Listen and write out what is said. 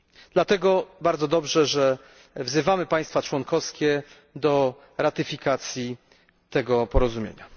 Dlatego bardzo dobrze, że wzywamy państwa członkowskie do ratyfikowania tego porozumienia.